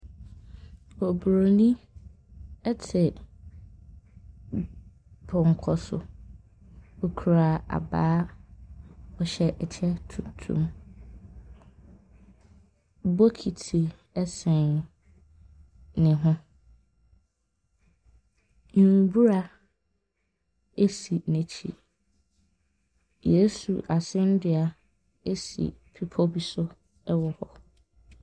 Oburoni te pɔnkɔ so. Ɔkura abaa. Ɔhyɛ kyɛ tuntum. Bokiti sɛn ne ho. Mbura si n'akyi. Yesu asɛnnua si bepɔ bi so wɔ hɔ.